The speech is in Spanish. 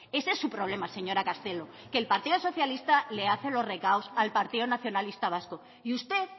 ese es su problema señora castelo que el partido socialista le hace los recados al partido nacionalista vasco y usted